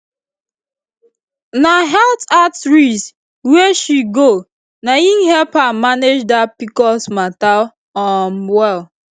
na health outreach wey she go na him help her manage that pcos matter um well